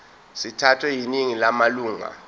sithathwe yiningi lamalunga